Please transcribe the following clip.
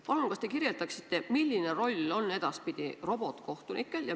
Palun kas te kirjeldaksite, milline roll on edaspidi robotkohtunikel?